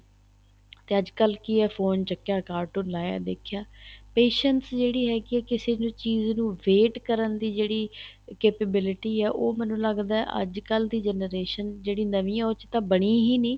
ਤੇ ਅੱਜਕਲ ਕੀ ਹੈ phone ਚੱਕਿਆ cartoon ਲਾਇਆ ਦੇਖਿਆ patience ਜਿਹੜੇ ਹੈਗੇ ਏ ਕਿਸੇ ਨੂੰ ਚੀਜ਼ ਨੂੰ wait ਕਰਨ ਦੀ ਜਿਹੜੀ capability ਉਹ ਮੈਨੂੰ ਲੱਗਦਾ ਏ ਅੱਜਕਲ ਦੀ generation ਜਿਹੜੀ ਨਵੀਂ ਹੈ ਉਹ ਚ ਤਾਂ ਬਣੀ ਹੀ ਨਹੀਂ